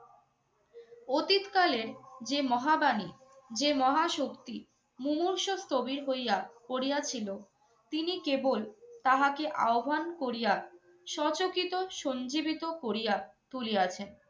অতীতকালের যে মহাবাণী, যে মহাশক্তি মুমূর্ষু স্থবির হইয়া পড়িয়াছিল তিনি কেবল তাহাকে আহ্বান করিয়া সচকিত সঞ্জীবিত করিয়া তুলিয়াছেন।